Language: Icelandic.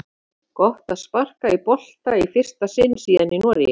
Gott að sparka í bolta í fyrsta sinn síðan í Noregi!